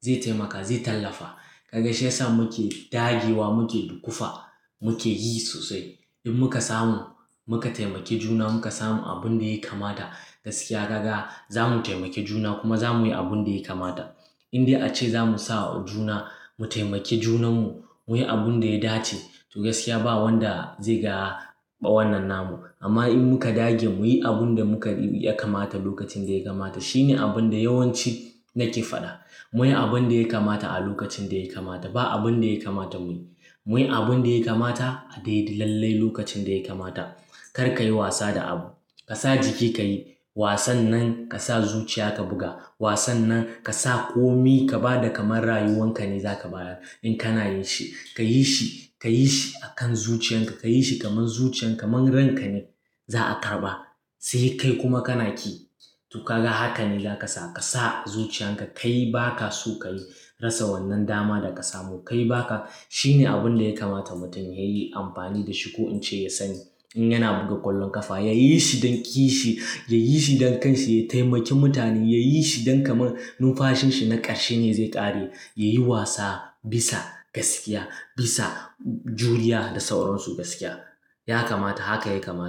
zai taimaka, zai tallafa. Ka ga shi yasa muke dagewa muke dukufa muke yi sosai. In muka samu muka taimaki juna muka samu abun da ya kamata gaskiya ka ga za mu taimake juna kuma za mu yi abun da ya kamata. Indai ace za mu sa juna mu taimaki junanmu mu yi abun da ya dace to gaskiya ba wanda zai ga bayan nan namu. Amma in muka dage mu yi abun da muka gani yakamata lokacin da ya kamata shine abun da yawanci nake faɗa. Mu yi abun da ya kamata a lokacin da ya kamata. Ba abun da ya kamata mu yi. Mu yi abun da ya kamata a dai lallai lokacin da ya kamata. Kar ka yi wasa da abu. Ka sa jiki ka yi wasannan ka sa zuciya ka buga. Wasan nan ka sa komi ka ba da kamar rayuwan ka ne za ka bayar in kana yin shi. Ka yi shi, ka yi shi akan zuciyan ka. Ka yi shi kamar zuciyan ka man ran ka ne za a karɓa sai kai kuma kana ki. To ka ga haka ne za ka sa. Ka sa zuciyan ka ka yi ba ka so ka yi. Rassa wannan dama da ka samu ka yi ba ka. Shine abun da ya kamata mutum ya yi amfani da shi ko in ce ya sani. In yana buga ƙwallon ƙafa ya yi shi don ki yi shi, ya yi shi don kansa, ya taimaki mutane, ya yi shi don kamar numfashin shi na ƙarshe ne zai ƙare. Ya yi wasa bisa gaskiya, bisa juriya da sauran su gaskiya. Ya kamata haka ya kamata.